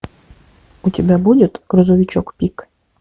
у тебя будет грузовичок пик